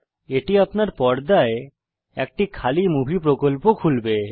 এটি আপনার পর্দায় একটি খালি মুভি প্রকল্প খুলবে